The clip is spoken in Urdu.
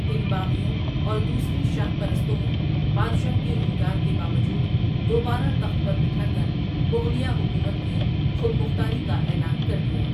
ان باغیوں اور دوسرے شاہ پرستوں نے بادشاہ کے انکار کے باوجود دوبارہ تخت پر بٹھا کر مغلیہ حکومت کی خود مختاری کا اعلان کر دیا ۔